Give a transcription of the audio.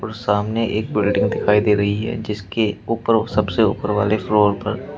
और सामने एक बिल्डिंग दिखाई दे रही है जिसके ऊपर सबसे ऊपर वाले फ्लोर पर--